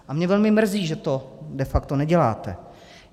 A mě velmi mrzí, že to de facto neděláte.